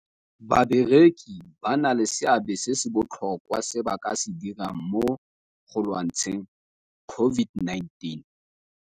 Bakereki ba na le seabe se se botlhokwa se ba ka se dirang mo go lwantsheng COVID-19.